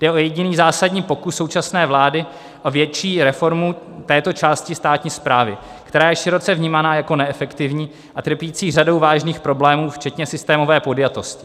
Jde o jediný zásadní pokus současné vlády o větší reformu této části státní správy, která je široce vnímána jako neefektivní a trpící řadou vážných problémů, včetně systémové podjatosti.